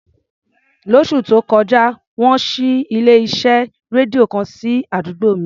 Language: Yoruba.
Lóṣù tó kọjá, wọ́n ṣí ilé-iṣẹ́ rédíò kan sí àdúgbò mi.